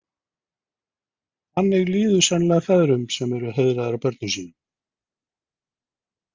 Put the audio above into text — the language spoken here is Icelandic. Þannig líður sennilega feðrum sem eru heiðraðir af börnum sínum.